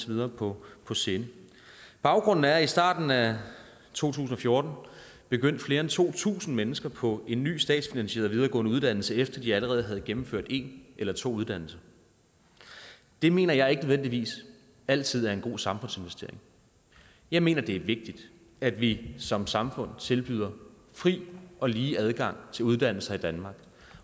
videre på på sinde baggrunden er at i starten af to tusind og fjorten begyndte flere end to tusind mennesker på en ny statsfinansieret videregående uddannelse efter at de allerede havde gennemført en eller to uddannelser det mener jeg ikke nødvendigvis altid er en god samfundsinvestering jeg mener det er vigtigt at vi som samfund tilbyder fri og lige adgang til uddannelser i danmark